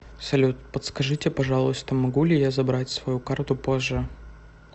салют подскажите пожалуйста могу ли я забрать свою карту позже